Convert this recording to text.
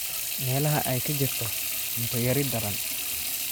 Meelaha ay ka jirto cunto yari daran.